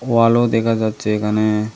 ওয়ালও দেখা যাচ্ছে এখানে।